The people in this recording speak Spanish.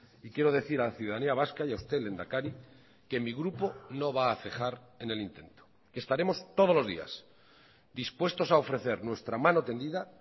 y quiero decir a la ciudadanía vasca y a usted lehendakari que mi grupo no va a cejar en el intento estaremos todos los días dispuestos a ofrecer nuestra mano tendida